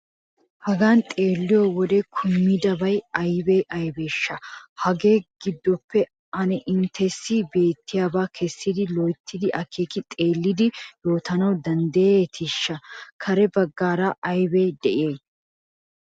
Hagan xeelliyo wode kumidabay aybee aybeeshsha? Hagaa giddoppe ane inttessi beettiyabaa kessidi loyttidi akeeki xeellidi yootana danddayeetii? Kare baggaara aybi de'ii?